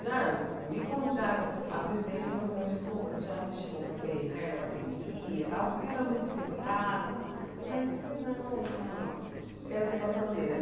Já me convidaram, a presidente do Camisa Verde falou, já me chamou para ser Rainha da Bateria e tal, porque eu era muito espivitada, mas eu falei, não, não, não, quero ser porta-bandeira.